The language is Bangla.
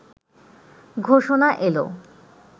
ঘোষণা এলো